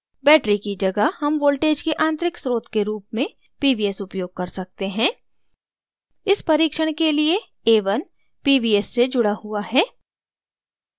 battery की जगह हम voltage के आंतरिक स्रोत के रूप में pvs उपयोग कर सकते हैं इस परीक्षण के लिए a1 pvs से जुड़ा हुआ है